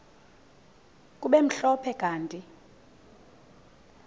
kube mhlophe kanti